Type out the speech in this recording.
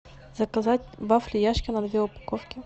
заказать вафли яшкино две упаковки